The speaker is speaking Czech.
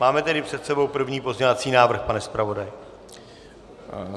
Máme tedy před sebou první pozměňovací návrh, pane zpravodaji.